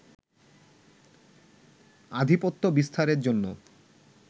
আধিপত্য বিস্তারের জন্য